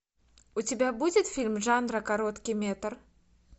у тебя будет фильм жанра короткий метр